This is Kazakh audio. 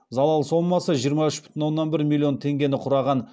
залал сомасы жиырма үш бүтін оннан бір миллион теңгені құраған